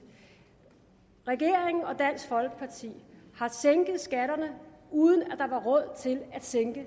regeringen og dansk folkeparti har sænket skatterne uden at der var råd til at sænke